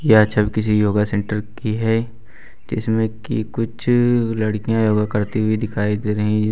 यह छवि किसी योगा सेंटर की है जिसमें की कुछ लड़कियां योगा करती हुई दिखाई दे रही है।